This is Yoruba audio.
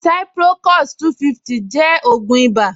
Ciprocos-250 jẹ́ ògùn ìbà